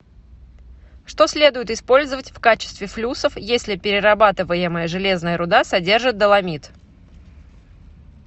что следует использовать в качестве флюсов если перерабатываемая железная руда содержит доломит